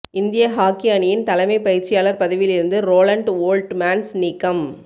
இந்திய ஹாக்கி அணியின் தலைமை பயிற்சியாளர் பதவியில் இருந்து ரோலண்ட் ஓல்ட்மேன்ஸ் நீக்கம்